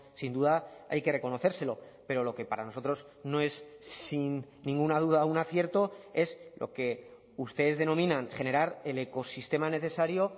sin duda hay que reconocérselo pero lo que para nosotros no es sin ninguna duda un acierto es lo que ustedes denominan generar el ecosistema necesario